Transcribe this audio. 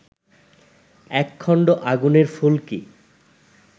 এক খণ্ড আগুনের ফুলকি